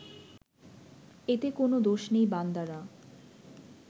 এতে কোনও দোষ নেই বান্দারা